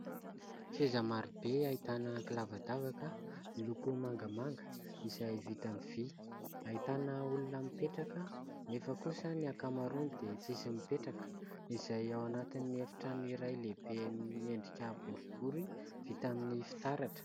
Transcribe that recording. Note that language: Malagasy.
Seza marobe ahitana kilavadavaka miloko mangamanga izay vita aminy vy. Ahitana olona mipetraka nefa kosa ny ankamaroany dia tsisy mipetraka, izay ao anatin'ny efitrano iray lehibe miendrika boribory vita amin'ny fitaratra.